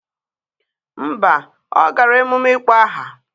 Mba ọ gara emume ịkpọ aha.